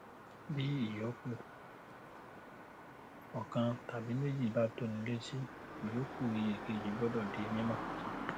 bí ìyoku ọkan tàbí méjì bá tóni létí ìyoku iye kejì gbọdọ di mímọ